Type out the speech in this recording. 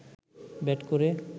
bat করে